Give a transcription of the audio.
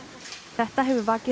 þetta hefur vakið